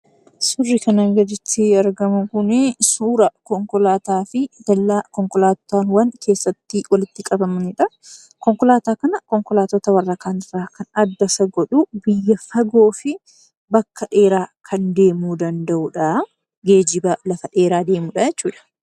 Suurri kana gaditti argamu suura konkolaataa fi dallaa konkolaataawwaan keessatti walitti qabamabidha. Konkolaataa kan Konkolaataa kaanirra kan adda isa godhu biyya fagoo fi bakka dheeraa kan deemuu danda’udha. Geejjiba lafa dheeraa deemuu danda’udha jechuudha.